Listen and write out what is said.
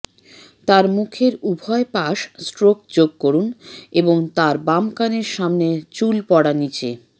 তার মুখের উভয় পাশ স্ট্রোক যোগ করুন এবং তার বাম কানের সামনে চুল পড়া নিচে